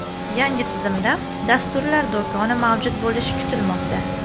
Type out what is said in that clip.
Yangi tizimda dasturlar do‘koni mavjud bo‘lishi kutilmoqda.